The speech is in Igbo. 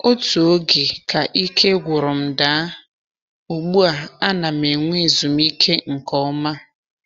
Otu oge ka ike gwụrụ m daa, ugbu a ana m enwe ezumike nke ọma.